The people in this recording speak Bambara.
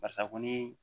Barisa ko ni